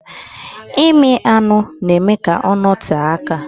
ịmị anụ na-eme ka ọ nọtee aka.